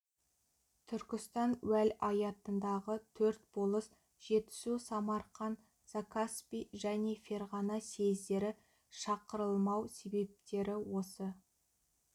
түркістан уәлаятындағы төрт болыс жетісу самарқан закаспий және ферғана съездері шақырылмау себептері осы